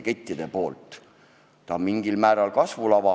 Maxima on mingis mõttes kasvulava.